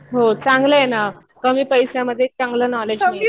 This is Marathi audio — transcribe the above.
हो चांगलं आहे ना. कमी पैशामध्ये चांगलं नॉलेज मिळतं.